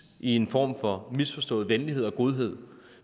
en form for misforstået venlighed og godhed